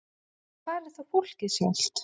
En hvar er þá fólkið sjálft?